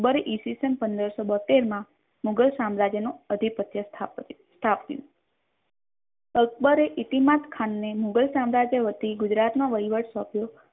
અકબર ઈસ્વીસન પંદરસો બોહોતેર મા મુઘલ સમરાજ્ય નો અધિપત્ય સ્થાપ્યુ અકબર એ ઈતીમાત ખાન ને મુઘલ સામ્રાજ્ય વતી ગુજરાત નો વૈવહટ સોંપ્યો